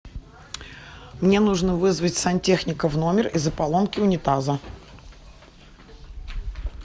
мне нужно вызвать сантехника в номер из за поломки унитаза